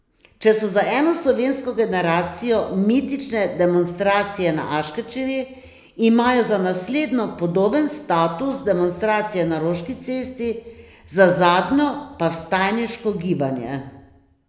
Če so za eno slovensko generacijo mitične demonstracije na Aškerčevi, imajo za naslednjo podoben status demonstracije na Roški cesti, za zadnjo pa vstajniško gibanje.